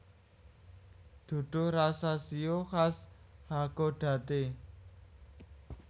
Duduh rasa shio khas Hakodate